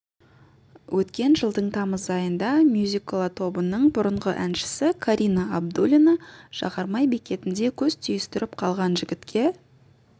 өткен жылдың тамыз айында мюзикола тобының бұрынғы әншісі карина абдуллина жағармай бекетінде көз түйістіріп қалған жігітке